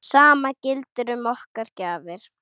Sama gildir um okkar gjafir.